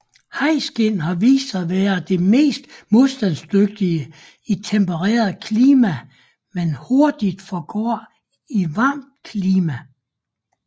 Hajskind har vist sig at være det mest modstandsdygtige i tempereret klima men hurtigt forgår i varmt klima